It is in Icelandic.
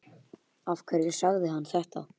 Af hverju sagði hann þetta?